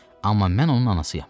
Amma mən onun anasıyam.